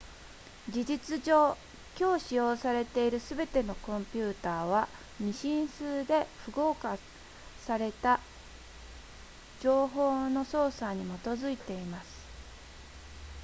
事実上今日使用されているすべてのコンピュータは2進数で符号化された情報の操作に基づいています